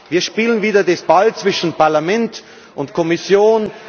Wir spielen wieder den Ball zwischen Parlament und Kommission.